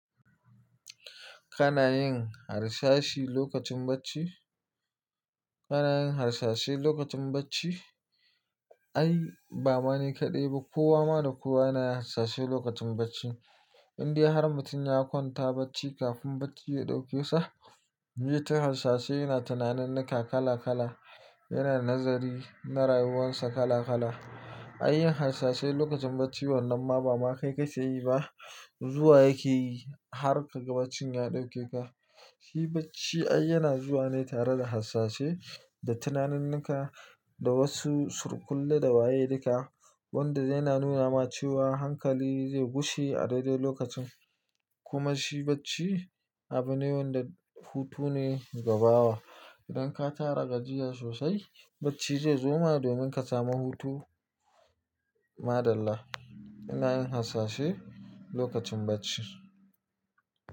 Kana yin harsashi lokacin bacci? Kana yin harsashi lokacin bacci? Ai ba ma ni kaɗai ba, kowa ma da kowa yana harsashi lokacin bacci. Inde har mutum ya kwanta bacci kafin bacci ya ɗauke sa, zaiyi ta harsashi yana tunaninika kala kala, yana nazari na rayuwarsa kala kala. Inde har mutum ya kwanta bacci kafin bacci ya ɗauke sa, zaiyi ta harsashi yana tunaninika kala kala, yana nazari na rayuwarsa kala kala. Shi bacci ai yana zuwa ne tare da harsashi da tunaninika da wasu surkulle da waye duka wanda yana nuna ma cewa hankali zai gushe a daidai lokacin. Kuma shi bacci abu ne wanda hutu ne gabawa. Idan ka tara gajiya sosai bacci zai zo ma domin ka samu hutu. Maɗalla, ina yin harsashi lokacin bacci.